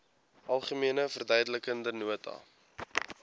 algemene verduidelikende nota